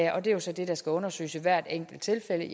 og det er så det der skal undersøges i hvert enkelt tilfælde